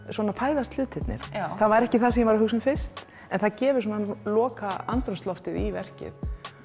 svona fæðast hlutirnir það var ekki það sem ég var að hugsa um fyrst en það gefur lokaandrúmsloftið í verkið